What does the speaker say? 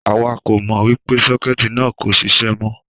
Àwa kò mọ wípé sókétì náà kò ṣiṣẹ́ mó